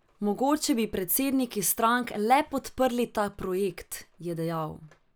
Mogoče bi predsedniki strank le podprli ta projekt, je dejal.